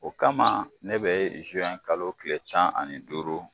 O kama ne be kalo kile tan ani duuru